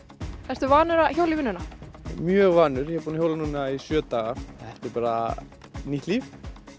ertu vanur að hjóla í vinnuna mjög vanur ég er búin að hjóla núna í sjö daga þetta er bara nýtt líf